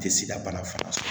Tɛ sida bana fura